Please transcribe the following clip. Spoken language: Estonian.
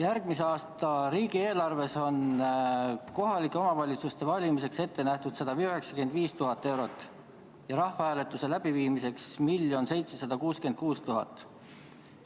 Järgmise aasta riigieelarves on kohalike omavalitsuste valimisteks ette nähtud 195 000 eurot ja rahvahääletuse läbiviimiseks 1 766 000.